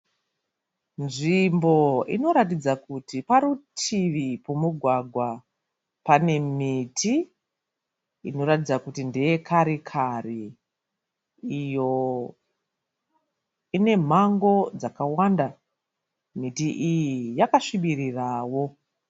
Nzvimbo inoratidza kuti parutivi pemugwagwa. Pane miti inoratidza kuti ndeye kare-kare iyo inemango dzakawanda. Miti iyi yakasbirirawo.